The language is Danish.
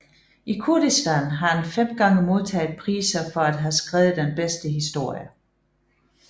I Kurdistan har han fem gange modtaget priser for at have skrevet den bedste historie